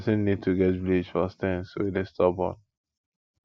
person need to get bleach for stains wey dey stubborn